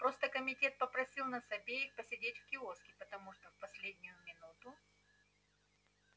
просто комитет попросил нас обеих посидеть в киоске потому что в последнюю минуту